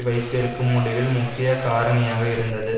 வைத்திருக்கும் முடிவில் முக்கிய காரணியாக இருந்தது